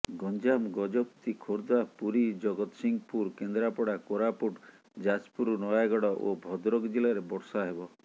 ଗଞ୍ଜାମ ଗଜପତି ଖୋର୍ଦ୍ଧା ପୁରୀ ଜଗତସିଂହପୁର କେନ୍ଦ୍ରାପଡ଼ା କୋରାପୁଟ ଯାଜପୁର ନୟାଗଡ଼ ଓ ଭଦ୍ରକ ଜିଲ୍ଲାରେ ବର୍ଷା ହେବ